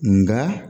Nga